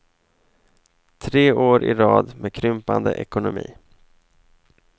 Tre år i rad med krympande ekonomi.